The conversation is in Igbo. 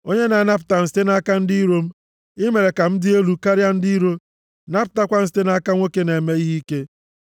onye na-anapụta m site nʼaka ndị iro m. I mere ka m dị elu karịa ndị iro, napụtakwa m site nʼaka nwoke na-eme ihe ike.